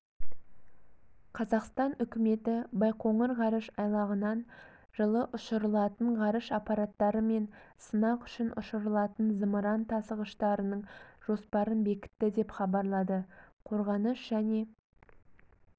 қазақстан үкіметі байқоңыр ғарыш айлағынан жылы ұшырылатын ғарыш аппараттары мен сынақ үшін ұшырылатын зымыран тасығыштарының жоспарын бекітті деп хабарлады қорғаныс және